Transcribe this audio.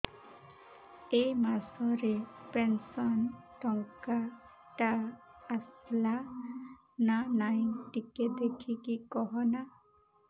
ଏ ମାସ ରେ ପେନସନ ଟଙ୍କା ଟା ଆସଲା ନା ନାଇଁ ଟିକେ ଦେଖିକି କହନା